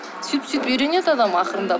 сөйтіп сөйтіп үйренеді адам ақырындап